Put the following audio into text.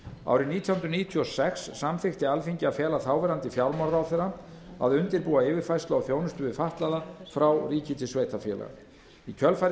árið nítján hundruð níutíu og sex samþykkti alþingi að fela þáverandi félagsmálaráðherra að undirbúa yfirfærslu á þjónustu við fatlaða frá ríki til sveitarfélaga í kjölfarið